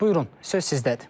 Buyurun, söz sizdədir.